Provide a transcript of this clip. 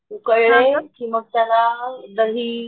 उकळलेकी मग त्याला दही